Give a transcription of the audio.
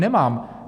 Nemám.